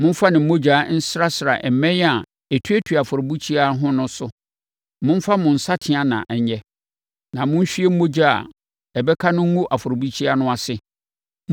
Momfa ne mogya nsrasra mmɛn a ɛtuatua afɔrebukyia no ho no so. Momfa mo nsateaa na ɛnyɛ, na monhwie mogya a ɛbɛka no ngu afɔrebukyia no ase.